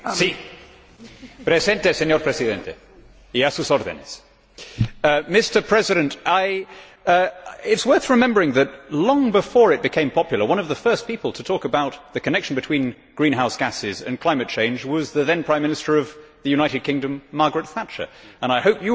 Mr President, it is worth remembering that, long before it became popular, one of the first people to talk about the connection between greenhouse gases and climate change was the then Prime Minister of the United Kingdom, Margaret Thatcher, and I hope that you of all people will allow me in the circumstances to say a word or two about her.